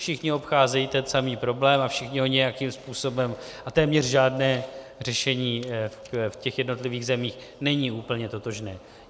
Všichni obcházejí ten samý problém a všichni ho nějakým způsobem - a téměř žádné řešení v těch jednotlivých zemích není úplně totožné.